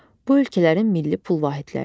Bu ölkələrin milli pul vahidləridir.